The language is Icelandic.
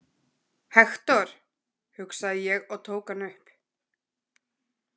Hektor, hugsaði ég og tók hann upp.